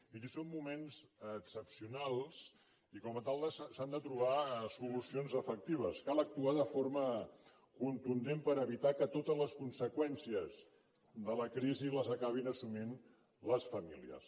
miri són moments excepcionals i com a tal s’han de trobar solucions efectives cal actuar de forma contundent per evitar que totes les conseqüències de la crisi les acabin assumint les famílies